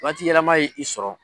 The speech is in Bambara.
Waati yɛlɛma ye i sɔrɔ.